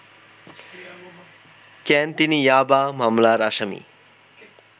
কেন তিনি ইয়াবা মামলার আসামি